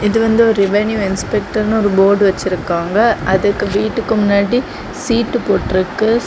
இது வந்து ஒரு ரெவென்யூ இன்ஸ்பெக்டர்னு போர்டு வெச்சிருக்காங்க அதுக்கு வீட்டுக்கு முன்னாடி சீட்டு போட்டு இருக்கு.